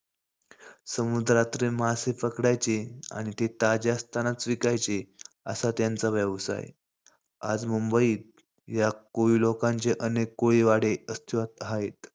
समुद्रातले मासे पकडायचे आणि ते ताजे असतांनाच विकायचे असा त्यांचा व्यवसाय. आज मुंबईत या कोळी लोकांचे अनेक कोळीवाडे अस्तित्वात आहेत.